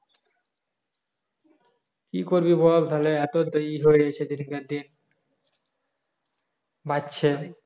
কি করবি বল তালা এত হয়ে গাছে দিন কার দিন বাড়ছে